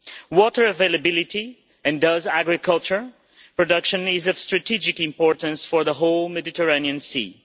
Water availability, and thus agricultural production, is of strategic importance for the whole Mediterranean Sea.